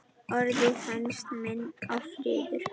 Orðið hænsn minnir á fiður.